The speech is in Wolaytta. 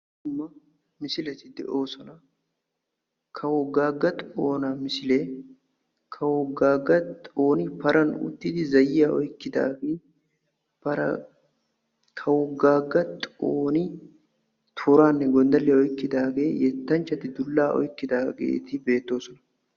Dumma misileti de'oosona; kawo Gaaga xoona misile kawo gaaga xooni paran utidi zayyiyaa oykkkidaage para kawo Gaaga xooni tooranne gonddalliya oykkidaage yettanchchati zaayyiyanne dulla oykkidaageeti beettoosona.